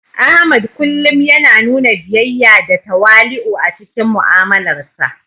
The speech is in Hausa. Ahmad kullum yana nuna biyayya da tawali'u a cikin mu'amalarsa.